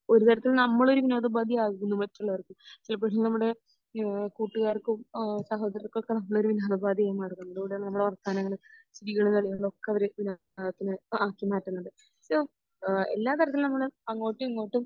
ഒരുതരത്തിൽ നമ്മൾ ഒരു വിനോദോപാധി ആകുന്നു മറ്റുള്ളവർക് ചിലപ്പോൾ ഈഹ് നമ്മുടെ കൂട്ടുകാർക്കും സഹോദരങ്ങൾക്കും ഒക്കെ നമ്മളൊരു വിനോദോപാധി ആയി മാറുന്നു നമ്മുടെ വർത്താനങ്ങൾ ജീവിതകളികൾ ഒക്കെ അവര് ആക്കി മാറ്റുന്നുണ്ട്. എല്ലാ തരത്തിലും നമ്മൾ അങ്ങോട്ടും ഇങ്ങോട്ടും